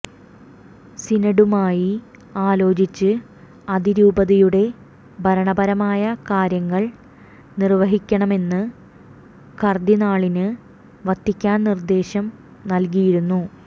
സിനഡുമായി ആലോചിച്ച് അതിരൂപതയുടെ ഭരണപരമായ കാര്യങ്ങൾ നിർവഹിക്കണമെന്ന് കർദ്ദിനാളിന് വത്തിക്കാൻ നിർദ്ദേശം നൽകിയിരുന്നു